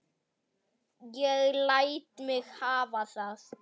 Ég læt mig hafa það.